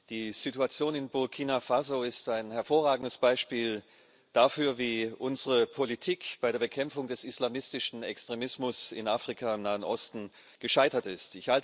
Die Situation in Burkina Faso ist ein hervorragendes Beispiel dafür, wie unsere Politik bei der Bekämpfung des islamistischen Extremismus in Afrika, im Nahen Osten gescheitert ist.